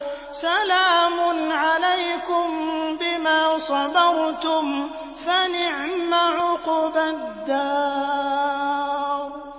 سَلَامٌ عَلَيْكُم بِمَا صَبَرْتُمْ ۚ فَنِعْمَ عُقْبَى الدَّارِ